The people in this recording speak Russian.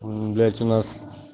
блять у нас